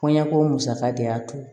Kɔɲɔko musaka de y'a to